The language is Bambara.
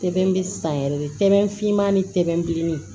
Sɛbɛn bɛ san yɛrɛ de finma ni tɛleman